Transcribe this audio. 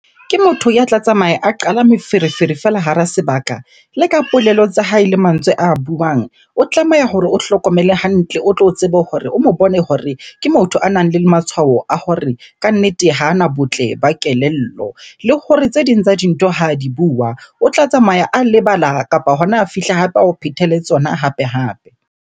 Ke motho ya tla tsamaya a qala meferefere fela hara sebaka. Le ka polelo tsa hae le mantswe a buang, o tlameha hore o hlokomele hantle o tlo tsebe hore o mo bone hore ke motho a nang le matshwao a hore kannete hana botle ba kelello. Le hore tse ding tsa dintho ha di bua, o tla tsamaya a lebala kapa hona ha fihle hape ao phethele tsona hape-hape.